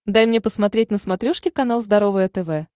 дай мне посмотреть на смотрешке канал здоровое тв